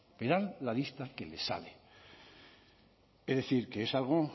verán la lista que les sale es decir que es algo